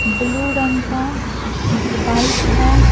Blue रंग का एक बाइक है ।